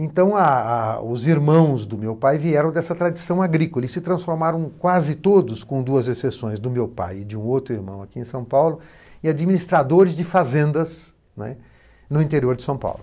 Então, ah ah os irmãos do meu pai vieram dessa tradição agrícola e se transformaram quase todos, com duas exceções do meu pai e de um outro irmão aqui em São Paulo, em administradores de fazendas, né, no interior de São Paulo.